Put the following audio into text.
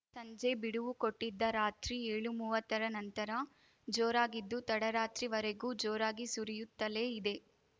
ಸಂಜೆ ಬಿಡುವು ಕೊಟ್ಟಿದ್ದ ರಾತ್ರಿ ಏಳುಮುವ್ವತ್ತರ ನಂತರ ಜೋರಾಗಿದ್ದು ತಡರಾತ್ರಿವರೆಗೂ ಜೋರಾಗಿ ಸುರಿಯುತ್ತಲೇ ಇದೆ